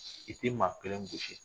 I t'i maa kelen gosi.